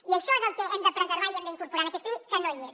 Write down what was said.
i això és el que hem de preservar i hem d’incorporar en aquesta llei que no hi és